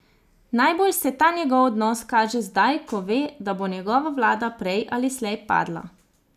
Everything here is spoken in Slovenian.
Najbolj se ta njegov odnos kaže zdaj, ko ve, da bo njegova vlada prej ali slej padla.